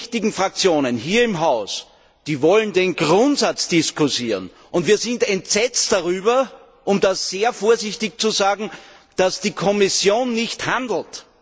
Alle wichtigen Fraktionen hier im Haus wollen den Grundsatz diskutieren. Und wir sind entsetzt darüber, um das sehr vorsichtig zu sagen, dass die Kommission nicht handelt.